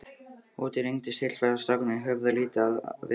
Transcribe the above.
Úti rigndi sífellt og strákarnir höfðu lítið við að vera.